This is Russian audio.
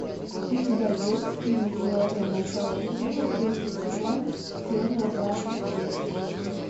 у тебя есть фильм теория большого взрыва третий сезон серия двадцать шесть